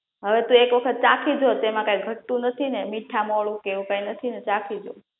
હવે તુ એક વખત ચાખી જો તેમા કાઇ ઘટતુ નથી ને મીથા મોરુ કે એવુ કઈ નથી ને ચાખી જો